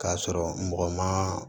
K'a sɔrɔ mɔgɔ ma